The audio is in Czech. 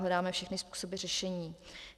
Hledáme všechny způsoby řešení.